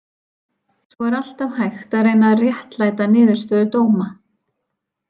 Svo er alltaf hægt að reyna réttlæta niðurstöðu dóma.